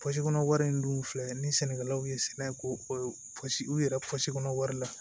kɔnɔ wari in dun filɛ ni sɛnɛkɛlaw ye sɛnɛ kosugu u yɛrɛ wari la